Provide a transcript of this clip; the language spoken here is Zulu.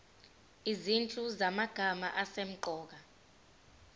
izinhlu zamagama asemqoka